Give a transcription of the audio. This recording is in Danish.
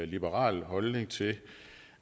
liberal holdning til